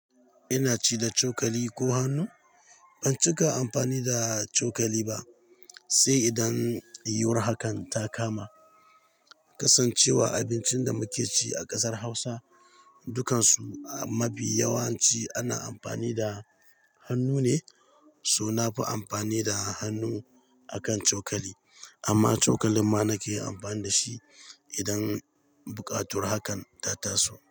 Ina ci da cokali ko hannu? Ban cika amfani da cokali ba sai idan yiyuwar hakan ta kama. Kasancewa abincin da muke ci a kasar Hausa dukansu a mafi yawanci ana amfani da hannu ne, so na fi amfani da hannu akan cokali. Amma cokalin ma nake amfani da shi idan buƙatur hakan ta taso.